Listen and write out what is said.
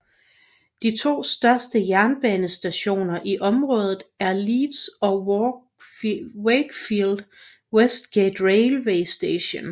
De to største jernbanestationer i området er Leeds og Wakefield Westgate Railway Station